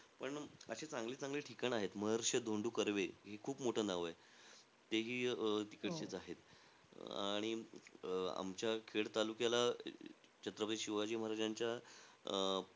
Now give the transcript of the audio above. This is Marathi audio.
पण अशे चांगले-चांगले ठिकाण आहेत. महर्षी धोंडो कर्वे हे खूप मोठं नाव आहे. तेही अं तिकडचेचं आहे. अं आणि अं आमच्या खेड तालुक्याला छत्रपती महाराजांच्या, अं